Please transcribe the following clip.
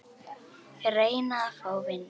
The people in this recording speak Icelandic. Reyna að fá vinnu?